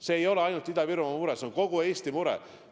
See ei ole ainult Ida-Virumaa mure, see on kogu Eesti mure.